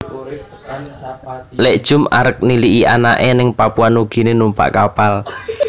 Lik Jum arep niliki anake ning Papua Nugini numpak kapal